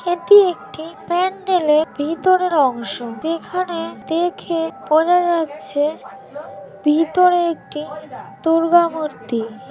এটি একটি প্যান্ডেলর ভেতরের অংশ যেখানে দেখে বোঝা যাচ্ছেভিতরেএকটি দুর্গা মূর্তি ।